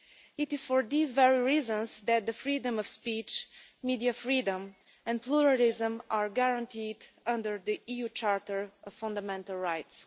It is for these very reasons that freedom of speech, media freedom and pluralism are guaranteed under the EU Charter of Fundamental Rights.